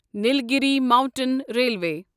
Nilgiri mountain railway